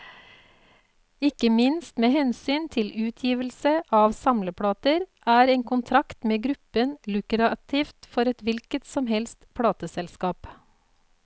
Ikke minst med hensyn til utgivelse av samleplater, er en kontrakt med gruppen lukrativt for et hvilket som helst plateselskap.